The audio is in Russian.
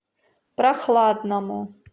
прохладному